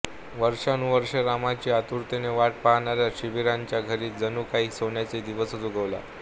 वर्षानुवर्ष रामाची आतुरतेने वाट पाहणाऱ्या शबरीच्या घरी जणू काही सोन्याचा दिवस उगवला